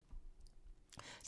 TV 2